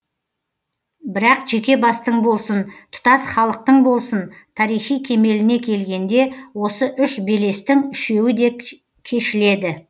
бірақ жеке бастың болсын тұтас халықтың болсын тарихи кемеліне келгенде осы үш белестің үшеуі де кешіледі